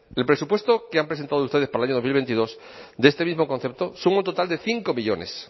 el presupuesto que han presentado ustedes para el año dos mil veintidós de este mismo concepto suma un total de cinco millónes